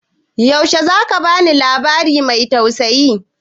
Yaushe za ka ba ni labari mai tausayi?